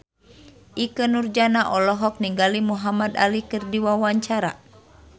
Ikke Nurjanah olohok ningali Muhamad Ali keur diwawancara